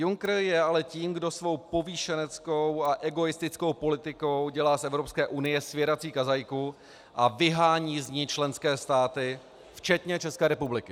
Juncker je ale tím, kdo svou povýšeneckou a egoistickou politikou dělá z Evropské unie svěrací kazajku a vyhání z ní členské státy včetně České republiky.